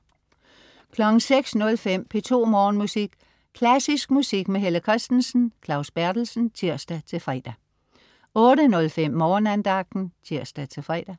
06.05 P2 Morgenmusik. Klassisk musik med Helle Kristensen/Claus Berthelsen (tirs-fre) 08.05 Morgenandagten (tirs-fre)